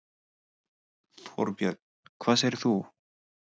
Þorbjörn: Hvað segir þú?